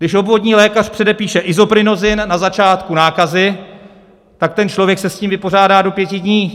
Když obvodní lékař předepíše Isoprinosine na začátku nákazy, tak ten člověk se s tím vypořádá do pěti dní.